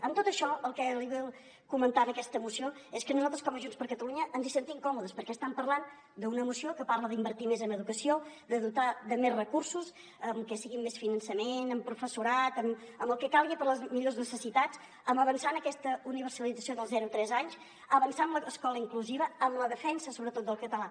amb tot això el que li vull comentar en aquesta moció és que nosaltres com a junts per catalunya ens hi sentim còmodes perquè estan parlant d’una moció que parla d’invertir més en educació de dotar de més recursos que sigui amb més finançament amb professorat amb el que calgui per a les millors necessitats amb avançar en aquesta universalització del zero a tres anys avançar en l’escola inclusiva amb la defensa sobretot del català